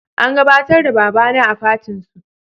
An gabatar da baba na a fatin su